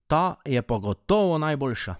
Ta je pa gotovo najboljša!